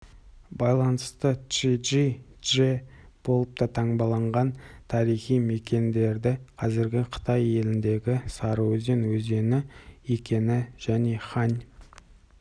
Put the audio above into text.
байланысты чжи-чжи чже болып та таңбаланған тарихи мекендері қазіргі қытай еліндегі сарыөзен өзені екенінжәне хань